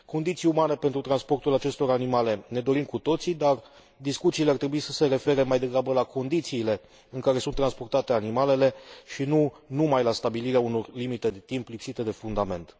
Condiții umane pentru transportul acestor animale ne dorim cu toții, dar discuțiile ar trebui să se refere mai degrabă la condițiile în care sunt transportate animalele, și nu numai la stabilirea unor limite de timp lipsite de fundament.